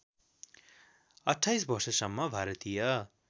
२८ वर्षसम्म भारतीय